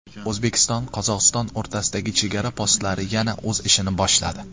O‘zbekistonQozog‘iston o‘rtasidagi chegara postlari yana o‘z ishini boshladi.